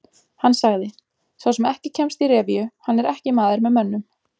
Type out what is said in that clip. Hann sagði: Sá sem ekki kemst í revíu, hann er ekki maður með mönnum.